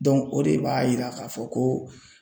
o de b'a yira k'a fɔ ko